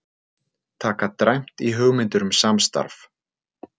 Taka dræmt í hugmyndir um samstarf